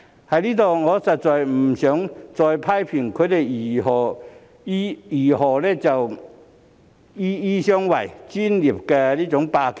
我在此實在不想再去批評他們如何"醫醫相衞"、"專業霸權"。